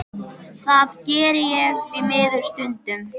Það geri ég því miður stundum.